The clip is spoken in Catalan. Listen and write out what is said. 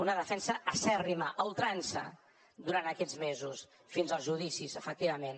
una defensa acèrrima a ultrança durant aquests mesos fins als judicis efectivament